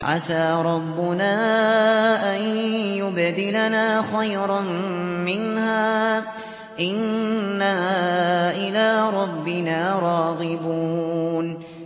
عَسَىٰ رَبُّنَا أَن يُبْدِلَنَا خَيْرًا مِّنْهَا إِنَّا إِلَىٰ رَبِّنَا رَاغِبُونَ